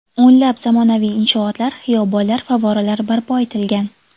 O‘nlab zamonaviy inshootlar, xiyobonlar, favvoralar barpo etilgan.